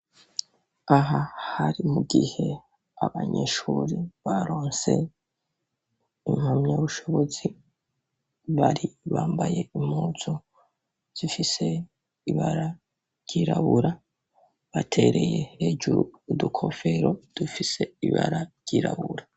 Aha, hari mu gihe abanyeshuri, baronse impamyabushobozi, baribambaye impuzu, zifise ibara ryirabura, batereye hejuru, udukofero, dufise ibara ryirabura.